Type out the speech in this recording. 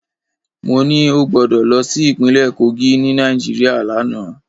Mo ní ó gbọdọ̀ lọ sí ìpínlẹ̀ Kogí ni Nàìjíríà lánàá.